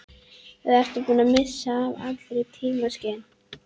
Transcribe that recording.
Eða ertu búinn að missa allt tímaskyn?